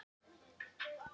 Erró vinsæll í París